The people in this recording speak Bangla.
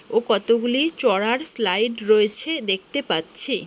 ও কতগুলি চড়ার স্লাইড রয়েছে দেখতে পাচ্ছি।